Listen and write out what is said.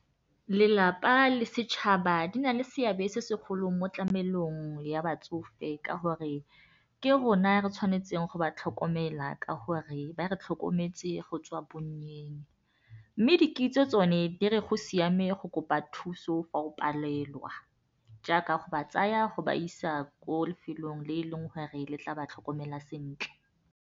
Lelapa le setšhaba di na le seabe se segolo mo tlamelong ya batsofe ka gore ke rona re tshwanetseng go ba tlhokomela ka gore ba re tlhokometse go tswa bonnyeng mme di kitso tsone di re go siame go kopa thuso fa o palelwa jaaka go ba tsaya go ba isa ko lefelong le e leng gore le tla ba tlhokomela sentle.